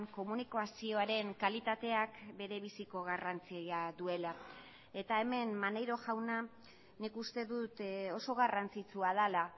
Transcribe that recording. komunikazioaren kalitateak bere biziko garrantzia duela eta hemen maneiro jauna nik uste dut oso garrantzitsua dela